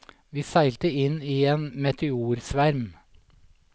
Vi seilte inn i en meteorsverm.